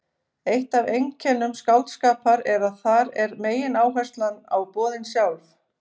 Eitt af einkennum skáldskapar er að þar er megináherslan á boðin sjálf.